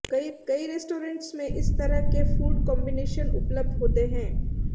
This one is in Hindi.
कई रेस्टोरेन्ट्स में इस तरह के फ़ूड कॉम्बिनेशन उपलब्ध होते हैं